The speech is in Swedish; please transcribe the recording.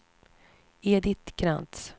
Edit Krantz